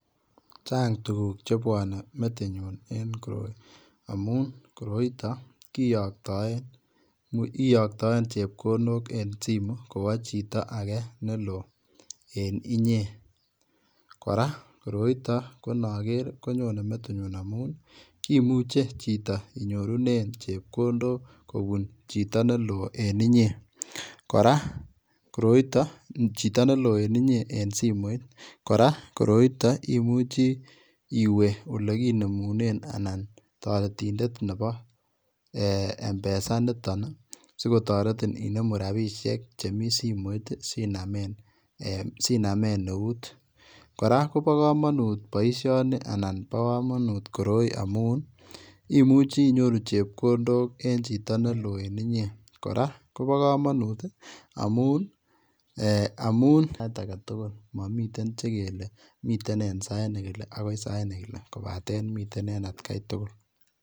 Chaang tuguuk chebwanei metinyuun amuun koroi kiyaktaen chepkondook en simu kobaa chitoo agei me loo en inyei kora ko inager koroitoo konyonei metinyuun imuche chitoo inyoruneen chepkondook kobuun chitoo ne loo en inyei kora koroita chito ne loo en simoit kora koroita imuchii iweeh Ile kinemuneen anan taretindeet nebo [mpesa] nitoon sikotaretiin inemuu rapisheek che miten simoit sinameen neut kora koba kamanut boisioni amuun imuchii inyoruu chepkondook en chitoo ne loo en inyei, kora Kobo kamanut amuun miten en at gai tugul.